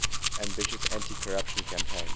ambitious anticorruption campaign